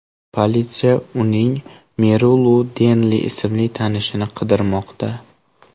Politsiya uning Merilu Denli ismli tanishini qidirmoqda.